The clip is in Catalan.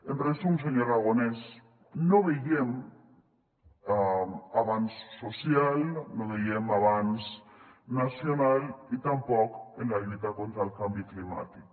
en resum senyor aragonès no veiem avanç social no veiem avanç nacional i tampoc en la lluita contra el canvi climàtic